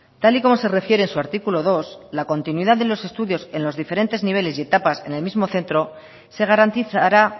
tal y como se refiere en su artículo dos la continuidad de los estudios en los diferentes niveles y etapas en el mismo centro se garantizará